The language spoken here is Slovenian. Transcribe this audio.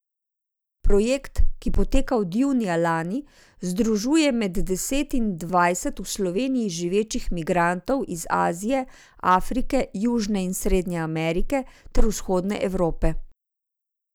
Projekt, ki poteka od junija lani, združuje med deset in dvajset v Sloveniji živečih migrantov iz Azije, Afrike, Južne in Srednje Amerike ter Vzhodne Evrope.